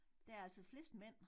Der altså flest mænd